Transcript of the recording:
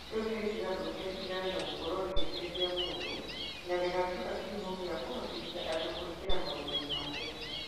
Rĩu nĩ rĩkĩgarũrũka rĩtigane na gũkorũo rĩgĩteithia mũndũ na mũndũ na rĩgatuĩka kĩhumo gĩa kũhotithia andũ kũingĩra maũndũ-inĩ ma mbeca.